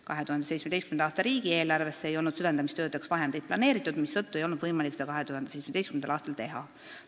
2017. aasta riigieelarvesse ei olnud süvendamistöödeks vahendeid planeeritud, mistõttu ei olnud võimalik seda 2017. aastal teha.